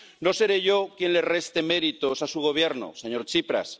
No seré yo quien le reste méritos a su Gobierno, señor Tsipras.